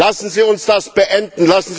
Lassen Sie uns das beenden!